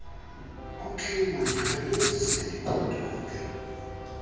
okey mandikhawulezise ndigoduke